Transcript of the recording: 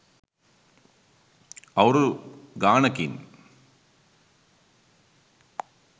අවුරුදු ගානකින්